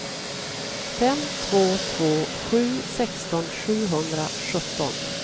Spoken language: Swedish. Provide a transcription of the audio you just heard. fem två två sju sexton sjuhundrasjutton